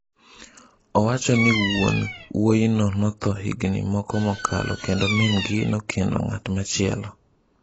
Owacho ni wuon wuoyino notho higni moko mokalo kendo min-gi nokendo ng’at machielo.